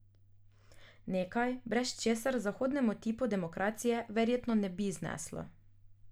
Nekaj, brez česar zahodnemu tipu demokracije verjetno ne bi zneslo.